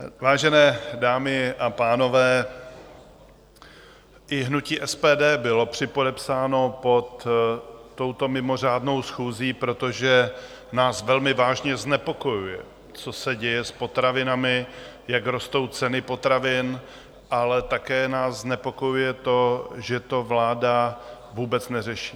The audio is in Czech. Vážené dámy a pánové, i hnutí SPD bylo připodepsáno pod touto mimořádnou schůzí, protože nás velmi vážně znepokojuje, co se děje s potravinami, jak rostou ceny potravin, ale také nás znepokojuje to, že to vláda vůbec neřeší.